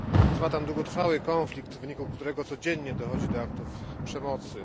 Trwa tam długotrwały konflikt, w wyniku którego codziennie dochodzi do aktów przemocy.